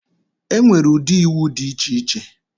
Enwere ụdị iwu dị iche iche.